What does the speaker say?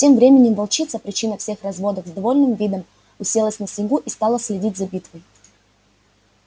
тем временем волчица причина всех разводов с довольным видом уселась на снегу и стала следить за битвой